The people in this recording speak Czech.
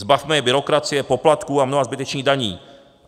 Zbavme je byrokracie, poplatků a mnoha zbytečných daní.